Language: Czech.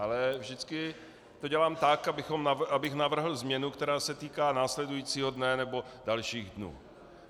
Ale vždycky to dělám tak, abych navrhl změnu, která se týká následujícího dne, nebo dalších dnů.